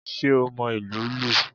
Sé o mo ìlù ú lù?